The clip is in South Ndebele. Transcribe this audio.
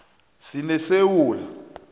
sinesewula